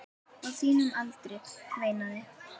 Á þínum aldri, veinaði